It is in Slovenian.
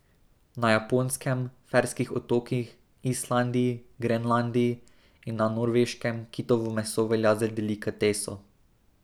Na Japonskem, Ferskih otokih, Islandiji, Grenlandiji in na Norveškem kitovo meso velja za delikateso.